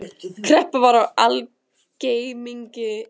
Kreppa var í algleymingi.